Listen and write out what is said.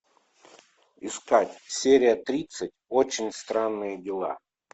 искать серия тридцать очень странные дела